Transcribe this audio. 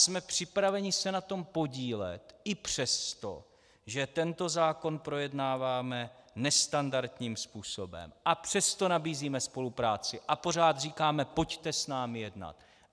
Jsme připraveni se na tom podílet i přesto, že tento zákon projednáváme nestandardním způsobem, a přesto nabízíme spolupráci a pořád říkáme: pojďte s námi jednat.